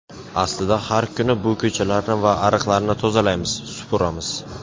Aslida har kuni bu ko‘chalarni va ariqlarni tozalaymiz, supuramiz.